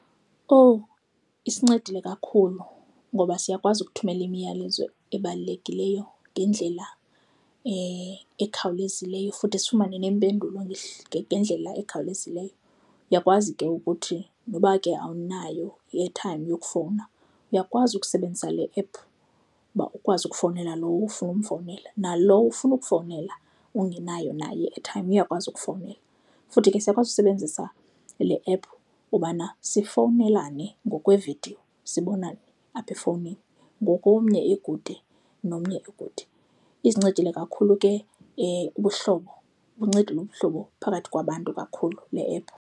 Owu, isincedile kakhulu ngoba siyakwazi ukuthumela imiyalezo ebalulekileyo ngendlela ekhawulezileyo futhi sifumane neempendulo ngendlela ekhawulezileyo. Uyakwazi ke ukuthi noba ke awunayo i-airtime yokufowuna, uyakwazi ukusebenzisa le ephu uba ukwazi ukufowunela lowo ufuna ukumfowunela. Nalowo ufuna ukufowunela ungenayo nayo i-airtime uyakwazi ukufowunela. Futhi ke siyakwazi usebenzisa le ephu ubana sifowunelane ngokwevidiyo, sibonane apha efowunini ngoku omnye ekude nomnye ekude. Izincedile kakhulu ke ubuhlobo, ibuncedile ubuhlobo phakathi kwabantu kakhulu le ephu.